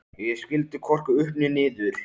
Ég skildi hvorki upp né niður.